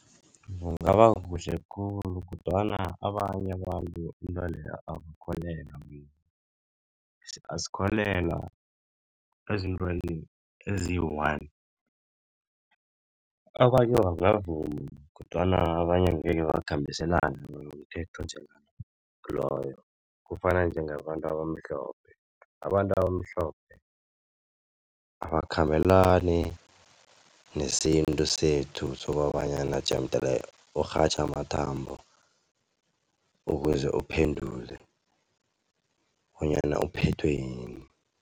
Kungaba kuhle khulu kodwana abanye abantu intweleyo abakholelwa. Asikholelwa ezintweni eziyi-one. Abanye bangavuma kodwana abanye angekhe bakhambiselani nomthetho onjengaloyo. Kufana njengabantu abamhlophe, abantu abamhlophe abakhambelani nesintu sethu sokobanyana jemdele urhatjhe amathambo ukuze uphendule bonyana uphethwe yini.